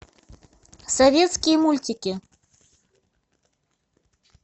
советские мультики